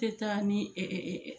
Tɛ taa ni